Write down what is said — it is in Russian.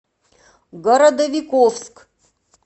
городовиковск